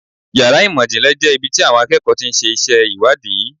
Yàrá ìmọ̀ ìjìnlẹ̀ jẹ́ ibi tí àwọn akẹ́kọ̀ọ́ ti ń ṣe iṣẹ́ ìwádìí.